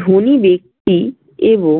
ধনি ব্যক্তি এবং